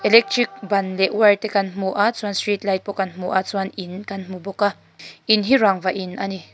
electric ban leh wire te kan hmu a chuan street light pawh kan hmu a chuan in kan hmu bawk a in hi rangva in a ni.